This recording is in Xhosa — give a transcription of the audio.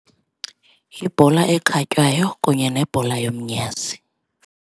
Yibhola ekhatywayo kunye nebhola yomnyazi.